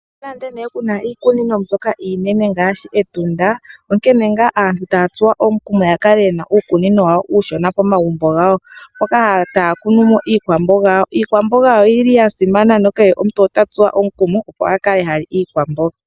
Nonando ne kuna iikunino mbyoka iinene ngaashi Etunda onkene nga aantu taya tsuwa omukumo ya kale yena uukunino wawo uushona pomagumbo gawo, mpoka taya kunu mo iikwamboga yawo. Iikwamboga oyili yasimana na kehe omuntu ota tsuwa omukumo akale hali iikwamboga.